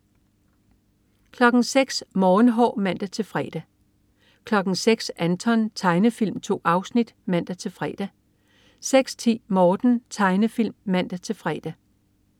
06.00 Morgenhår (man-fre) 06.00 Anton. Tegnefilm. 2 afsnit (man-fre) 06.10 Morten. Tegnefilm (man-fre)